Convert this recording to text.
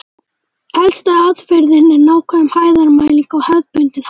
Elsta aðferðin er nákvæm hæðarmæling á hefðbundinn hátt.